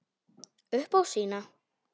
Upp á sína.